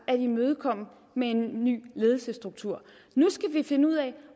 at imødekomme med en ny ledelsesstruktur nu skal vi finde ud af